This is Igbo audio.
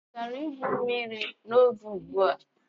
Ị gara igwu mmiri nwa oge ugbu a?